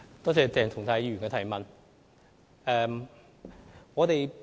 多謝鄭松泰議員提出補充質詢。